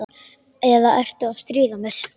Eða ertu að stríða mér?